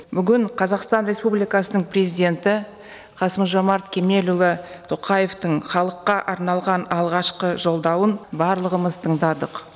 бүгін қазақстан республикасының президенті қасым жомарт кемелұлы тоқаевтың халыққа арналған алғашқы жолдауын барлығымыз тыңдадық